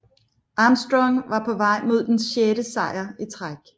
Armstrong var på vej mod den sjette sejr i træk